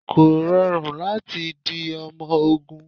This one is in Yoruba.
Kò rọrùn láti di ọmọ ogún.